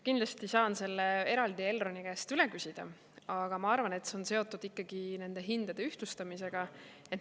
Kindlasti saan selle eraldi Elroni käest üle küsida, aga ma arvan, et see on seotud ikkagi nende hindade ühtlustamisega.